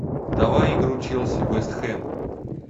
давай игру челси вест хэм